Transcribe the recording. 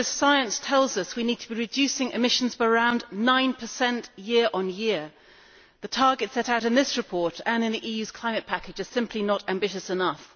The latest science tells us we need to be reducing emissions by around 9 year on year. The targets set out in this report and in the EU's climate package are simply not ambitious enough.